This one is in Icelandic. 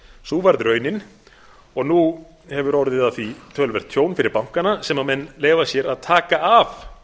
sú varð raunin og nú hefur orðið af því töluvert tjón fyrir bankana sem menn leyfa sér að taka af